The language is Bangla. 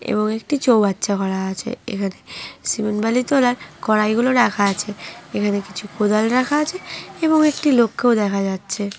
এবং একটি চৌবাচ্চা করা আছে এখানে সিমেন্ট বালি তোলার কড়াই গুলো রাখা আছে এখানে কিছু কোদাল রাখা আছে এবং একটি লোককেও দেখা যাচ্ছে।